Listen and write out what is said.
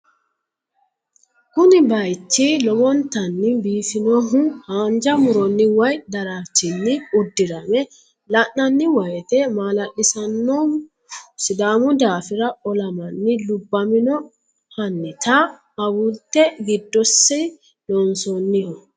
kuni baayiichi lowontani biifinohu hanja muronni woye daraarchinni uddirame la'nanni woyiite maala'lisannohu sidaamu daafira olamanni lubbamino hannita awulte giddosi loonsoonniho.